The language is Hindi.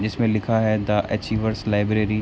जिसमे लिखा है द अचिएवेर्स लाइब्रेरी ।